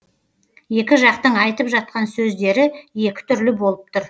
екі жақтың айтып жатқан сөздері екі түрлі болып тұр